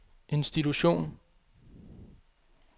institution